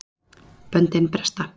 Böndin bresta